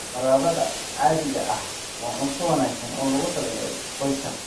Baradhada caadiga ah waa cunto wanaagsan oo loogu talagalay qoyska.